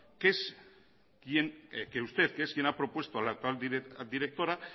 que usted que es quien ha propuesto a la actual directora